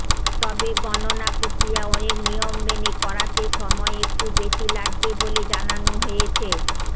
তবে গণনা প্রক্রিয়া অনেক নিয়ম মেনে করাতে সময় একটু বেশী লাগবে বলে জানানো হয়েছে